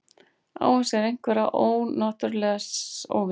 Á hann sér einhverja náttúrulega óvini?